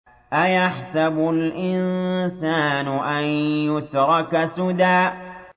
أَيَحْسَبُ الْإِنسَانُ أَن يُتْرَكَ سُدًى